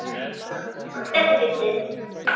Þetta er fyndið.